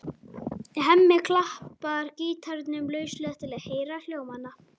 Hemmi klappar gítarnum lauslega til að heyra hljómana.